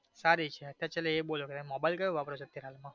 સારી છે specially તમે એ બોલો તમે mobile કયો વાપરો છે અત્યાર માં.